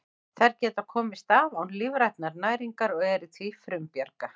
Þær geta komist af án lífrænnar næringar og eru því frumbjarga.